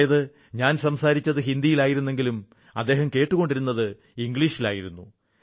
അതായത് ഞാൻ സംസാരിച്ചത് ഹിന്ദിയിലായിരുന്നെങ്കിലും അദ്ദേഹം കേട്ടുകൊണ്ടിരുന്നത് ഇംഗ്ലീഷിലായിരുന്നു